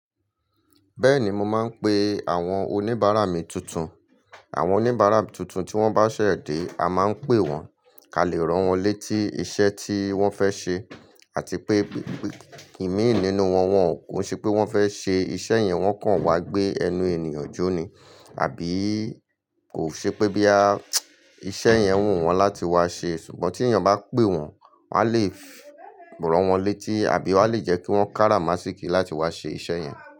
Bẹ́ẹ̀ni, mo máa ń pe àwọn oníbàárà mi tuntun. Àwọn oníbàárà tuntun tí wọ́n bá ṣẹ̀ dé, a máa ń pè wọ́n, ká lè ràn wọ́n létí iṣẹ́ tí wọ́n fẹ́ ṣe, àti pé ìmíì nínú wọn, wọn kò ṣe pé wọ́n fẹ́ ṣe iṣẹ́ yẹn, wọ́n kàn wá gbé ẹnu ènìyàn jóni àbíi kò ṣe pé bóyá iṣẹ́ yẹn wù wọ́n láti wá ṣe. Ṣùgbọ́n tí èyàn bá pè wọ́n, wa lè ràn wọ́n létí àbí a lè jẹ́ kí wọ́n kára máṣíkí láti wá ṣe iṣẹ́ yẹn.